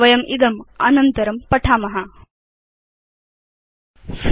वयं इदम् एतद् मालिकाया उत्तर पाठेषु चर्चयिष्याम